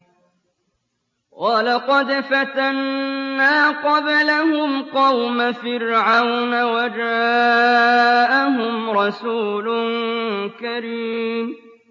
۞ وَلَقَدْ فَتَنَّا قَبْلَهُمْ قَوْمَ فِرْعَوْنَ وَجَاءَهُمْ رَسُولٌ كَرِيمٌ